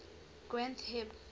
granth hib